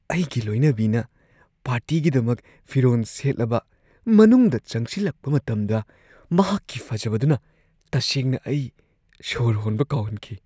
ꯑꯩꯒꯤ ꯂꯣꯏꯅꯕꯤꯅ ꯄꯥꯔꯇꯤꯒꯤꯗꯃꯛ ꯐꯤꯔꯣꯟ ꯁꯦꯠꯂꯕ ꯃꯅꯨꯡꯗ ꯆꯪꯁꯤꯜꯂꯛꯄ ꯃꯇꯝꯗ, ꯃꯍꯥꯛꯀꯤ ꯐꯖꯕꯗꯨꯅ ꯇꯁꯦꯡꯅ ꯑꯩ ꯁꯣꯔ ꯍꯣꯟꯕ ꯀꯥꯎꯍꯟꯈꯤ꯫